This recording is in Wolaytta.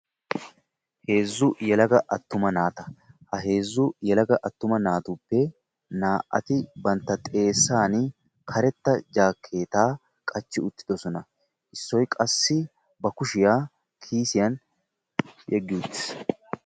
Heezzu yelaga attuma naata. ha heezzu yelaga attuma naatuppe naa"ati bantta xeessani karetta jaakeettaa qachchi uttidosona. issoy qassi ba kushiyaa kiisiyaan yeggi utiis.